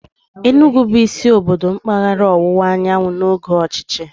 Enugwu bụ isi obodo mpaghara ọwụwa anyanwụ n'oge ọchịchị.